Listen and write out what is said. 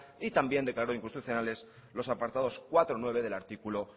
y también declaró inconstitucionales los apartados cuatro punto nueve del artículo